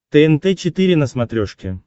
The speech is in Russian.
тнт четыре на смотрешке